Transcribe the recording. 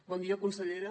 bon dia consellera